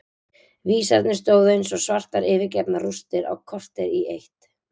Vísarnir stóðu eins og svartar yfirgefnar rústir á kortér í eitt.